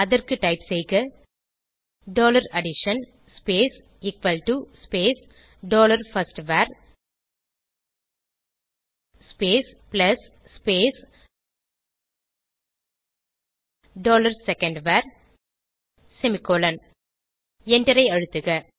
அதற்கு டைப் செய்க dollar addition space equal to space dollar first var plus space dollar second var semicolon எண்டரை அழுத்துக